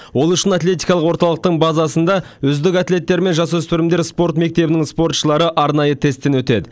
ол үшін атлетикалық орталықтың базасында үздік атлеттер мен жасөспірімдер спорт мектебінің спортшылары арнайы тесттен өтеді